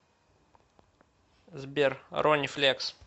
сбер рони флекс